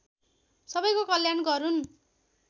सबैको कल्याण गरून्